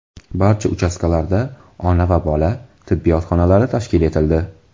Barcha uchastkalarda ona va bola, tibbiyot xonalari tashkil etildi.